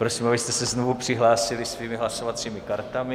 Prosím, abyste se znovu přihlásili svými hlasovacími kartami.